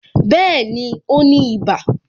Bẹẹni, ó ní ibà